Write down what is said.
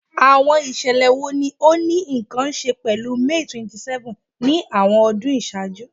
Awọn iṣẹlẹ wo ni o ni nkan ṣe pẹlu May 27th ni awọn ọdun iṣaaju?